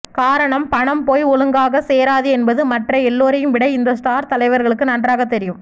காரணம் பணம் போய் ஒழுங்காக சேராது என்பது மற்ற எல்லோரையும் விட இந்த ஸ்டார் தலைவர்களுக்கு நன்றாகத் தெரியும்